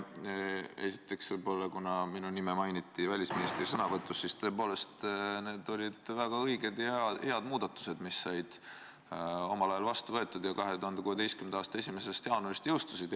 Esiteks, kuna minu nime mainiti välisministri sõnavõtus, siis tõepoolest, need olid väga õiged ja head muudatused, mis said omal ajal vastu võetud ja mis 2016. aasta 1. jaanuaril jõustusid.